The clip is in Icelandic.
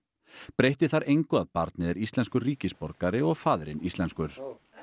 breytti þar engu að barnið er íslenskur ríkisborgari og faðirinn íslenskur